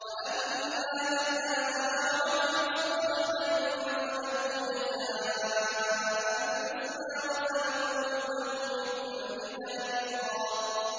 وَأَمَّا مَنْ آمَنَ وَعَمِلَ صَالِحًا فَلَهُ جَزَاءً الْحُسْنَىٰ ۖ وَسَنَقُولُ لَهُ مِنْ أَمْرِنَا يُسْرًا